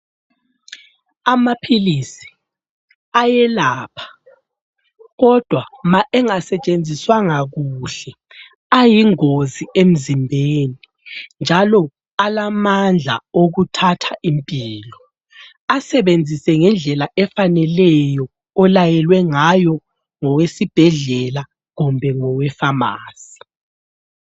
Amaphilisi ayelapha, kodwa ma engasetshenziswanga kuhle ayingozi emzimbeni, njalo alamandla okuthatha impilo. Asebenzise ngendlela efaneleyo olayelwe ngayo ngowesibhedlela kumbe ngowefamasi.